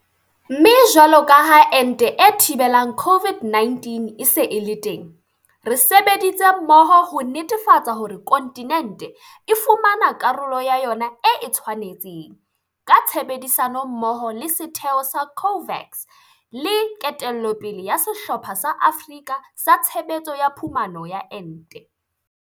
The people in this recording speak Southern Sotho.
Mme jwalo ka ha ente e thibelang COVID-19 e se e le teng, re sebeditse mmoho ho netefatsa hore kontinente e fumana karolo ya yona e e tshwanetseng, ka tshebedisano mmoho le setheo sa COVAX le ketello pele ya Sehlopha sa Afrika sa Tshebetso ya Phumano ya Ente.